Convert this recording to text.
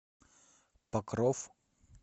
покров